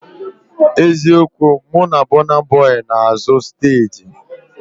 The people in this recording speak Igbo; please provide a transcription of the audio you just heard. Eziokwu, mụ na Bọna Bọi nọ n'azụ steeji